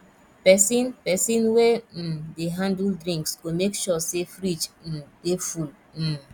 pesin pesin wey um dey handle drinks go make sure say fridge um dey full um